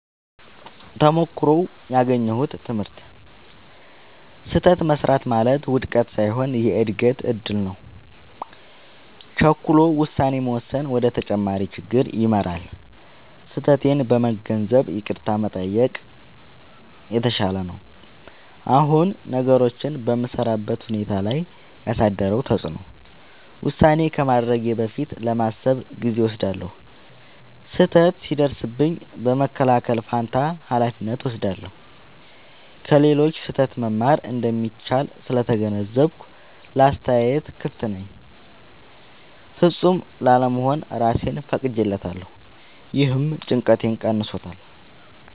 ተሞክሮው ያገኘሁት ትምህርት፦ · ስህተት መሥራት ማለት ውድቀት ሳይሆን የእድገት እድል ነው። · ቸኩሎ ውሳኔ መወሰን ወደ ተጨማሪ ችግር ይመራል። · ስህተቴን በመገንዘብ ይቅርታ መጠየቅ የተሻለ ነው። አሁን ነገሮችን በምሠራበት ሁኔታ ላይ ያሳደረው ተጽዕኖ፦ · ውሳኔ ከማድረጌ በፊት ለማሰብ ጊዜ እወስዳለሁ። · ስህተት ሲደርስብኝ በመከላከል ፋንታ ኃላፊነት እወስዳለሁ። · ከሌሎች ስህተት መማር እንደሚቻል ስለተገነዘብኩ ለአስተያየት ክፍት ነኝ። · ፍጹም ላለመሆን እራሴን ፈቅጄለታለሁ — ይህም ጭንቀቴን ቀንሷል።